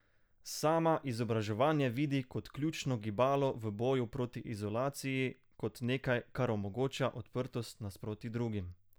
Sama izobraževanje vidi kot ključno gibalo v boju proti izolaciji, kot nekaj, kar omogoča odprtost nasproti drugim.